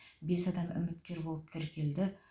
бес адам үміткер болып тіркелді